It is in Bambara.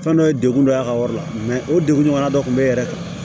Fɛn dɔ ye degun dɔ ye a ka wari la o degun ɲɔgɔnna dɔ kun be e yɛrɛ kan